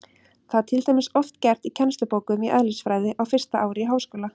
Það er til dæmis oft gert í kennslubókum í eðlisfræði á fyrsta ári í háskóla.